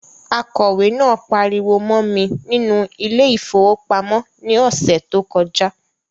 Akọ̀wẹ̀ náà pariwo mọ́ mi nínú ile-ìfowópamó ní ọsẹ tó kọjá